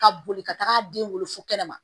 Ka boli ka taga den wolo fɔ kɛnɛma